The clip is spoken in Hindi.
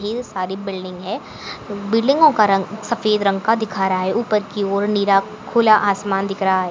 ढेर सारी बिल्डिंग है बिल्डिंगो को रंग सफ़ेद रंग का दिखा रहा है उपर की ओर नीला खुला आसमान दिख रहा है।